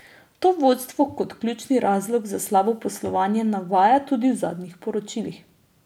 To vodstvo kot ključni razlog za slabo poslovanje navaja tudi v zadnjih poročilih.